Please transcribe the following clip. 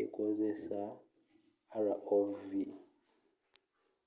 ekozesa rov